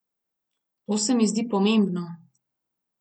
To se mi zdi pomembno.